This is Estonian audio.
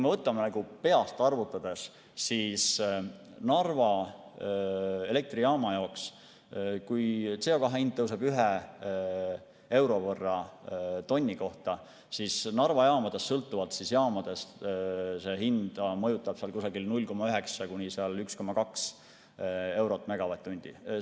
Peast arvutades: kui CO2 hind tõuseb ühe euro võrra tonni kohta, siis Narva jaamades, sõltuvalt jaamast mõjutab see hinda 0,9–1,2 eurot megavatt-tunni eest.